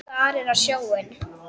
Starir á sjóinn.